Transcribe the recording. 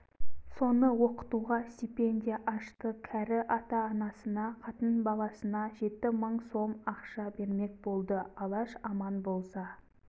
соны оқытуға стипендия ашты кәрі ата-анасына қатын-баласына жеті мың сом ақша бермек болды алаш аман болса